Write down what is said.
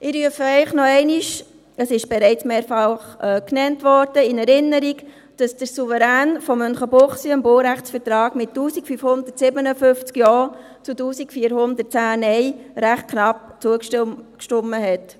Ich rufe Ihnen noch einmal in Erinnerung – es wurde bereits mehrfach erwähnt –, dass der Souverän von Münchenbuchsee dem Baurechtsvertrag mit 1557 Ja zu 1410 Nein recht knapp zugestimmt hat.